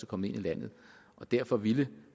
kommet ind i landet derfor ville